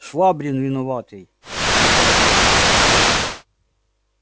швабрин виноватый отвечал я